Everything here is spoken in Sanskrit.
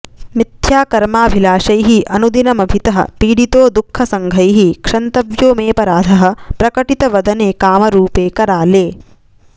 मिथ्याकर्माभिलाषैः अनुदिनमभितः पीडितो दुःख सङ्घैः क्षन्तव्यो मेऽपराधः प्रकटित वदने कामरूपे कराले